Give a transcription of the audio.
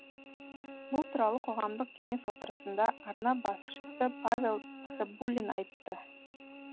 бұл туралы қоғамдық кеңес отырысында арна басшысы павел цыбулин айтты